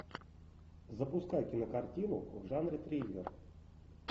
запускай кинокартину в жанре триллер